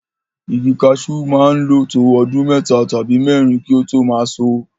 Igi kaṣú máa ń lo to ọdún mẹ́ta tàbí mẹ́rin kí ó tó máa ṣọ.